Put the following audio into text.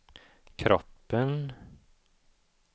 kroppen